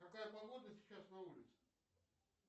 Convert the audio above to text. какая погода сейчас на улице